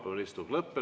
Vaheaeg 30 minutit.